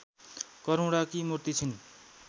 करुणाकी मूर्ति छिन्